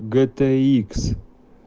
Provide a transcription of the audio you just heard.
гэ тэ икс